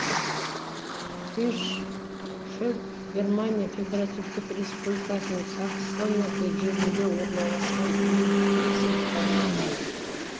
хиршфельд германия федеративтік республикасының саксония жерінде орналасқан муниципалитет